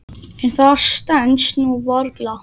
En það stenst nú varla.